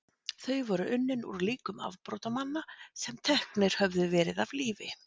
þau voru unnin úr líkum afbrotamanna sem teknir höfðu verið af lífi